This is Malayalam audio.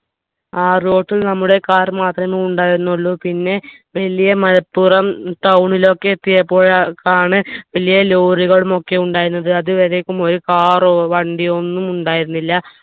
ആ road ൽ നമ്മുടെ car മാത്രമേ ഉണ്ടായിരുന്നുള്ളു പിന്നെ വലിയ മല പ്പുറം town ലോക്കെ എത്തിയപ്പോഴേക്കാണ് വലിയ lorry കളുമൊക്കെ ഉണ്ടായിരുന്നത് അത് വരേക്കും ഒരു car ഓ വണ്ടിയോ ഒന്നും ഉണ്ടായിരുന്നില്ല